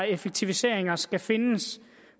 effektiviseringer skal findes